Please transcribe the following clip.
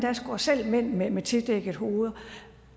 går selv mænd med med tildækkede hoveder